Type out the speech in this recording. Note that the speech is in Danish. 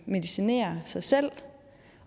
medicinerer sig selv